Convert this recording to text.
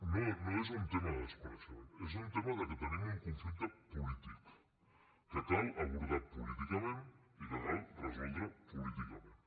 no no és un tema de desconeixement és un tema de que tenim un conflicte polític que cal abordar políticament i que cal resoldre políticament